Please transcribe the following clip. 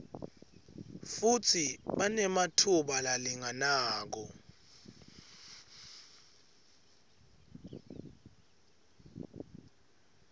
futsi banematfuba lalinganako